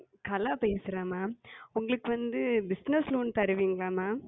கலா பேசுகிறேன் Ma'am உங்களுக்கு வந்து Bussiness Loan தருவீர்களா? Ma'am